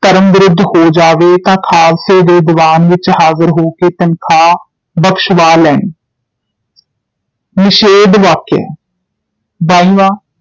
ਧਰਮ ਵਿਰੁੱਧ ਹੋ ਜਾਵੇ ਤਾਂ ਖਾਲਸੇ ਦੇ ਦੀਵਾਨ ਵਿਚ ਹਾਜ਼ਰ ਹੋ ਕੇ ਤਨਖ਼ਾਹ ਬਖਸ਼ਵਾ ਲੈਣੀ ਨਿਸ਼ੇਧ ਵਾਕਯ ਬਾਈਵਾਂ